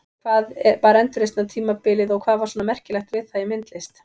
Hvað var endurreisnartímabilið og hvað var svona merkilegt við það í myndlist?